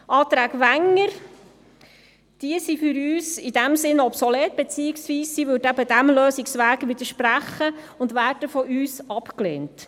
Die Anträge Wenger sind für uns in diesem Sinn obsolet, beziehungsweise widersprechen sie diesem Lösungsweg und werden von uns abgelehnt.